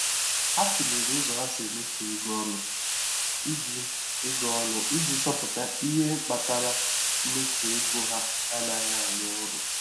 Ha tụlere ụzọ ha si emefu ego ọnụ iji ego ọnụ iji chọpụta ihe kpatara mmefu ego ha anaghị arụ ọrụ.